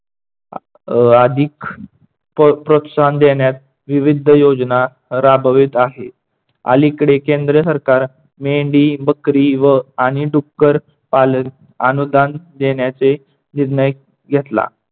अधिक प्रोत्‍साहन देण्यात विविध योजना राबवित आहे अलीकडे केंद्र सरकार मेंढी, बकरी व आणि डुक्कर पालन अनुदान देण्याचे निर्णय घेतला.